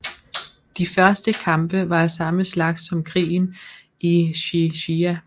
De første kampe var af samme slags som krigen i Xi Xia